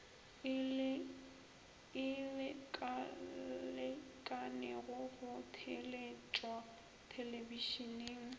e lekalekanego go theeletšwa thelebišeneng